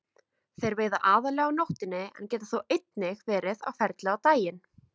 Þeir veiða aðallega á nóttunni en geta þó einnig verið á ferli á daginn.